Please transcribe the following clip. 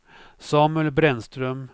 Samuel Brännström